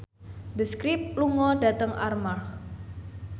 The Script lunga dhateng Armargh